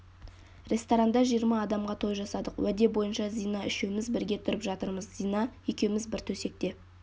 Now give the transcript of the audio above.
ресторанда жиырма адамға той жасадық уәде бойынша зина үшеуміз бірге тұрып жатырмыз зина екеуміз бір төсекте